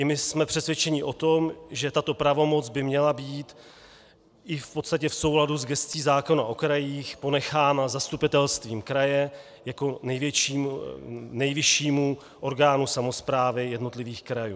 I my jsme přesvědčeni o tom, že tato pravomoc by měla být i v podstatě v souladu s gescí zákona o krajích ponechána zastupitelstvu kraje jako nejvyššímu orgánu samosprávy jednotlivých krajů.